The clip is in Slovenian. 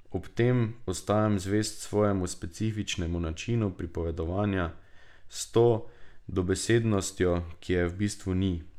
Ob tem ostajam zvest svojemu specifičnemu načinu pripovedovanja, s to dobesednostjo, ki je v bistvu ni.